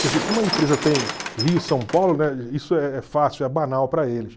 Quer dizer, como a empresa tem Rio e São Paulo, né, isso é fácil, é banal para eles.